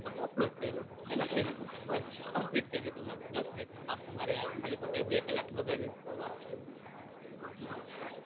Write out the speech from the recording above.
તમે upload કયૃ ને લખી દીધું બસ Complete થાય ગયું દાસ મિનિટ નું કામ ખાલી તમારે ખાલી ખોટી બે કલાક બગાડવી